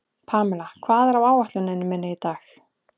Pamela, hvað er á áætluninni minni í dag?